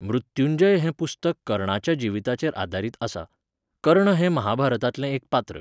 मृत्यूंजय हें पुस्तक कर्णाच्या जिवीताचेर आदारीत आसा. कर्ण हें महाभारतांतलें एक पात्र